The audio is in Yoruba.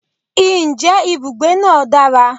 je ibugbe naa dara?